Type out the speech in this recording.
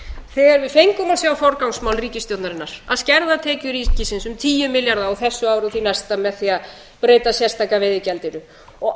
þegar við fengum að sjá forgangsmál ríkisstjórnarinnar að skerða tekjur ríkisins um tíu milljarða á þessu ári og því næsta með því að breyta sérstaka veiðigjaldinu og